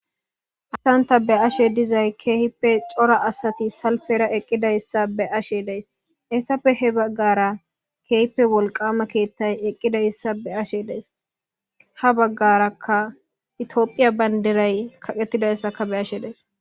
Haysan ta be'ashe dizay keehippe cora asati salpera eqidaysa be'ashe daysi,hesappe he bagara keehippe wolqama kethay eqidaysa be'ashe days ,ha bagaraka itophiya bandiray kaqetidayisaka beyashe days .